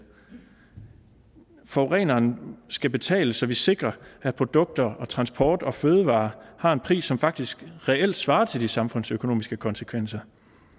forureneren skal betale så vi sikrer at produkter og transport og fødevarer har en pris som faktisk reelt svarer til de samfundsøkonomiske konsekvenser